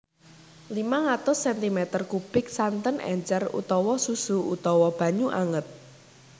limang atus sentimeter kubik santen encer utawa susu utawa banyu anget